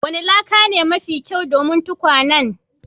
Wanni laka ne mafi kyau domin tukwanen?